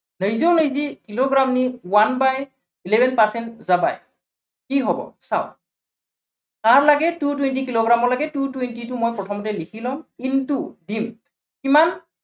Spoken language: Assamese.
eleven percent কি হব চাওক। কাৰ লাগে two twenty কিলোগ্ৰামলৈকে two twenty টো মই প্ৰথমতে লিখি লম। in to him কিমান।